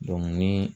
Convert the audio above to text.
ni